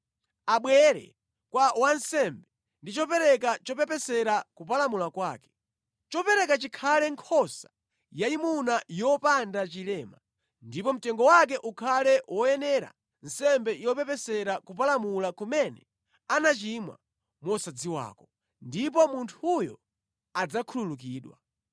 Abwere kwa wansembe ndi chopereka chopepesera kupalamula kwake. Chopereka chikhale nkhosa yayimuna yopanda chilema ndipo mtengo wake ukhale woyenera nsembe yopepesera kupalamula kumene anachimwa mosadziwako, ndipo munthuyo adzakhululukidwa.